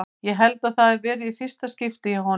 Ég held að það hafi verið í fyrsta skipti hjá honum.